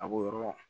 A b'o yɔrɔ